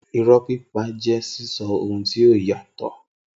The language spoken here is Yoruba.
Irọ́ pípa jẹ́ sísọ ohun tí ó yàtọ̀